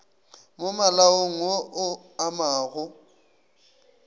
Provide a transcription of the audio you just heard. mo malaong wo o amago